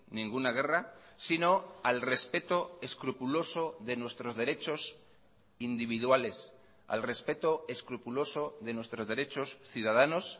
ninguna guerra sino al respeto escrupuloso de nuestros derechos individuales al respeto escrupuloso de nuestros derechos ciudadanos